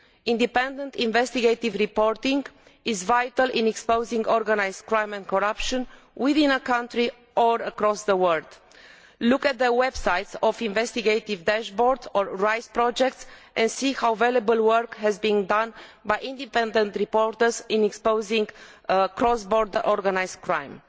Independent investigative reporting is vital in exposing organised crime and corruption within a country or across the world. Look at the websites of the Investigative Dashboard or the RISE project and see what valuable work has been done by independent reporters in exposing cross border organised